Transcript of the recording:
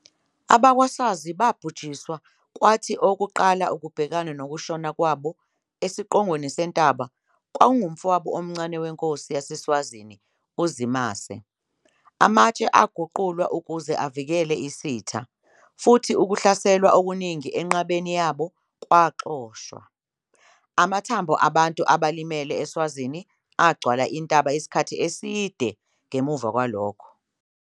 AbakwaSwazi babhujiswa kwathi owokuqala ukubhekana nokushona kwabo esiqongweni sentaba kwakungumfowabo omncane wenkosi yaseSwazini uZimase. Amatshe aguqulwa ukuze avikele isitha, futhi ukuhlaselwa okuningi enqabeni yabo kwaxoshwa. Amathambo abantu abalimele eSwazini agcwala intaba isikhathi eside ngemuva kwalokho.